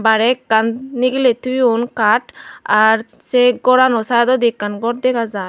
bairey ekkan nigiley toyon kaat ar se gorano saidodi ekkan gor dega jaar.